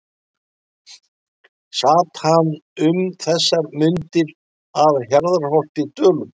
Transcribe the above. Sat hann um þessar mundir að Hjarðarholti í Dölum.